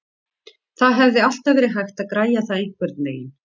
Það hefði alltaf verið hægt að græja það einhvernveginn.